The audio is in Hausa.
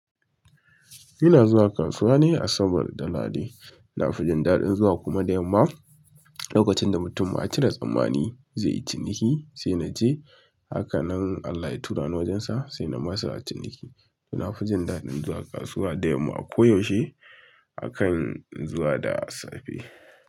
Ina zuwa kasuwa ne asabar da lahadi. Na fi jin daɗin zuwa kuma da yamma lokacin da mutum ya cire tsammani zai yi ciniki, sai na je haka nan Allah ya turani wajensa sai na masa ciniki. To na fi jin daɗin zuwa kasuwa da yamma a ko yaushe akan zuwa da safe.